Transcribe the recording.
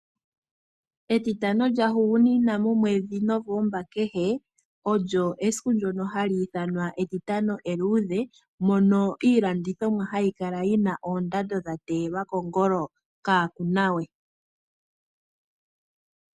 Etitano lyahugunina momwedhi Novomba kehe olyo esiku ndono hali idhanwa etitano eludhe mono iilandithonwa hayi kala yina oondando dha teyelwa kongolo kaakuna we.